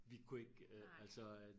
Vi kunne ikke øh altså at